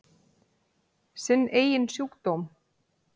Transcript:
Sinn eigin sjúkdóm.